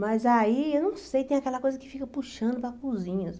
Mas aí, eu não sei, tem aquela coisa que fica puxando para a cozinha,